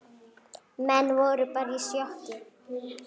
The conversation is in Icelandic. Menn voru bara í sjokki.